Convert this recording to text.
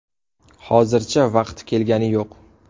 Hozircha vaqti kelgani yo‘q.